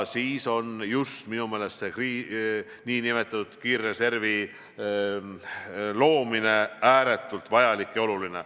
Nii on selle nn kiirreservi loomine minu meelest ääretult vajalik ja oluline.